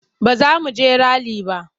Ba za mu je rali ba.